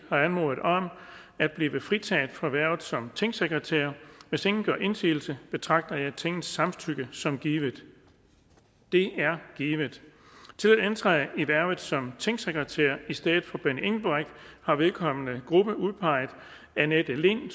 har anmodet om at blive fritaget for hvervet som tingsekretær hvis ingen gør indsigelse betragter jeg tingets samtykke som givet det er givet til at indtræde i hvervet som tingsekretær i stedet for benny engelbrecht har vedkommende gruppe udpeget annette lind